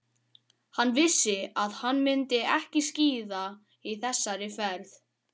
Hann vissi að hann myndi ekki skíða í þessari ferð.